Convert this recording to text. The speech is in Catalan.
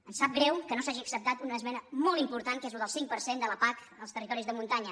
em sap greu que no s’hagi acceptat una esmena molt important que és el del cinc per cent de la pac als territoris de muntanya